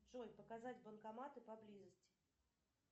джой показать банкоматы поблизости